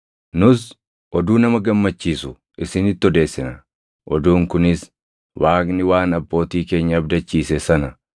“Nus oduu nama gammachiisu isinitti odeessina; oduun kunis: Waaqni waan abbootii keenya abdachiise sana,